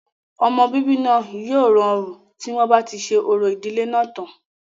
ọmọ bíbí náà yóò rọrùn tí wọ́n bá ti ṣe orò ìdílé náà tán